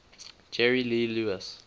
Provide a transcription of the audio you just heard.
jerry lee lewis